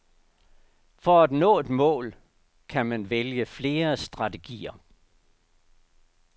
For at nå et mål kan man vælge flere strategier.